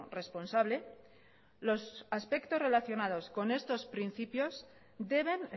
responsable los aspectos relacionados con estos principios deben